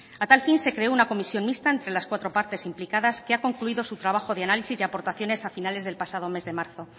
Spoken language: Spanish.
a tal fin se creó una comisión mixta entre las cuatro partes implicadas que ha concluido su trabajo de análisis de aportaciones a finales del pasado mes de marzo